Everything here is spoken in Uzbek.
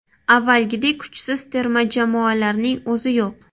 Avvalgidek kuchsiz terma jamoalarning o‘zi yo‘q.